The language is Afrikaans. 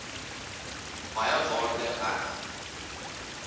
baie waarde heg